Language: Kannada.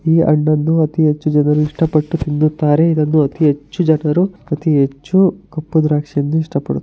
ಈ ಹಣ್ಣನ್ನು ಅತಿ ಹೆಚ್ಚು ಜನರು ಇಷ್ಟ ಪಟ್ಟು ತಿನ್ನುತ್ತಾರೆ ಇದನ್ನು ಅತಿ ಹೆಚ್ಚು ಜನರು ಅತಿ ಹೆಚ್ಚು ಕಪ್ಪು ದ್ರಾಕ್ಷಿಯನ್ನು ಇಷ್ಟ --